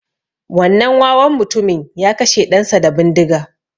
Wannan wawan mutumin ya kashe ɗan sa da bindiga